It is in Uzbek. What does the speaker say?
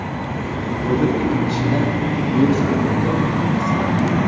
Bugun ikki kishida virus aniqlangani tasdiqlandi.